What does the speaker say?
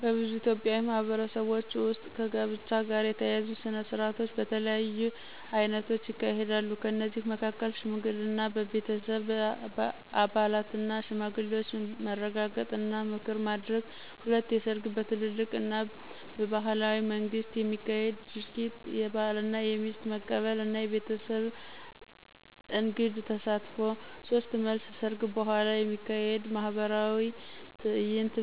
በብዙ ኢትዮጵያዊ ማህበረሰቦች ውስጥ ከጋብቻ ጋር የተያያዙ ሥነ ሥርዓቶች በተለያዩ አይነቶች ይካሄዳሉ። ከእነዚህ መካከል፦ 1. ሽምግልና – በቤተሰብ አባላትና ሽማግሌዎች መረጋገጥ እና ምክር ማድረግ። 2. ሰርግ – በትልቅ እና ባህላዊ መንገድ የሚካሄድ ድርጊት፣ የባልና የሚስት መቀበል እና የቤተሰብ እንግድ ተሳትፎ። 3. መልስ – ሰርግ በኋላ የሚካሄድ ማኅበራዊ ትዕይንት፣